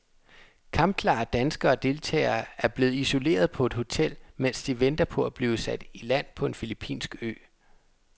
Kampklare danske deltagere er blevet isoleret på et hotel, mens de venter på at blive sat i land på en filippinsk ø.